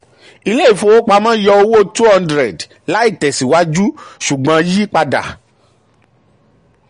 ilé ìfowopamọ́ yọ owó 200 láìtẹ̀síwájú ṣùgbọ́n yí padà.